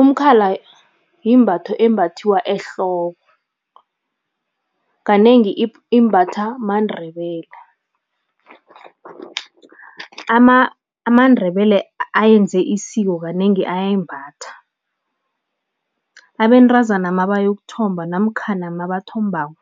Umkhala yimbatho embathiwa ehloko, kanengi imbatha maNdebele. AmaNdebele ayenze isiko kanengi ayayimbatha. Abentazana mabayokuthomba namkhana mabathombako,